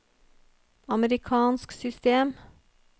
amerikansk system